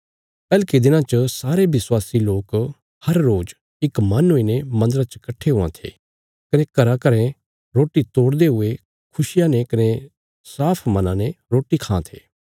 पैहलके दिनां च सारे विश्वासी लोक हर रोज़ इक मन हुईने मन्दरा च कट्ठे हुआं थे कने घराघरा रोटी तोड़दे हुये खुशिया ने कने साफ मना ने रोटी खां थे